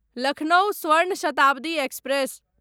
Lucknow Swarna Shatabdi express